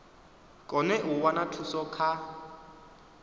kone u wana thuso kha